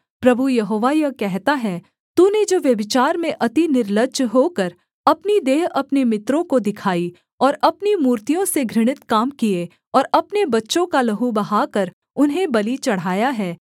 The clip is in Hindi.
प्रभु यहोवा यह कहता है तूने जो व्यभिचार में अति निर्लज्ज होकर अपनी देह अपने मित्रों को दिखाई और अपनी मूर्तियों से घृणित काम किए और अपने बच्चों का लहू बहाकर उन्हें बलि चढ़ाया है